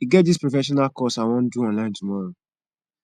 e get dis professional course i wan do online tomorrow